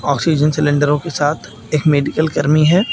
Oxygen सिलेंडरों के साथ एक मेडिकल कर्मी है।